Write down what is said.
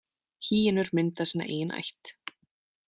Hýenur mynda sína eigin ætt.